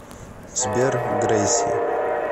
сбер грэйси